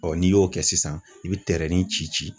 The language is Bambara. n'i y'o kɛ sisan, i bi tɛrɛnin ci ci.